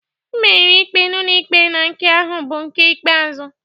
M meriri ikpe ụlọikpe na nke ahụ bụ nke ikpeazụ